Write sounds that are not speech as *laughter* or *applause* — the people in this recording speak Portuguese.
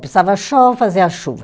Precisava, *unintelligible* fazia chuva.